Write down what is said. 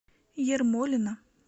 ермолино